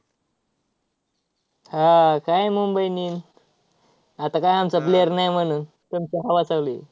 हा, काय मुंबई इंडियन्स आता काय आमचा player नाही म्हणून तुमची हवा चालू आहे.